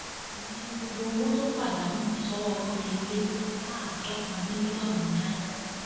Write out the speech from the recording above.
ìyẹn ni gbogbo owó tó pàdánù sọwọ wọn fi lé láàádọta mílíọnù náírà